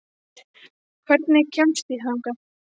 Styrmir, hvernig kemst ég þangað?